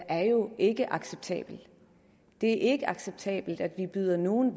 er jo ikke acceptabelt det er ikke acceptabelt at vi byder nogle